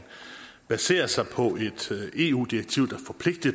baserer sig på et eu direktiv